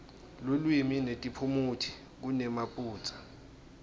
lulwimi netiphumuti kunemaphutsa